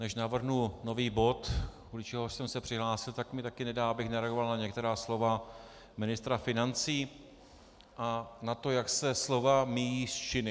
Než navrhnu nový bod, kvůli čemuž jsem se přihlásil, tak mi taky nedá, abych nereagoval na některá slova ministra financí a na to, jak se slova míjejí s činy.